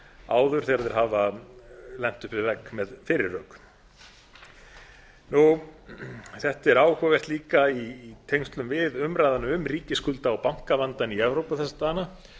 áður þegar þeir hafa lent upp við vegg með fyrri rök þetta er áhugavert líka í tengslum við umræðuna um ríkisskulda og bankavandann í evrópu þessa dagana